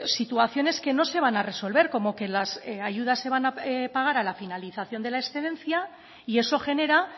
situaciones que no se van a resolver como que las ayudas se van a pagar a la finalización de la excedencia y eso genera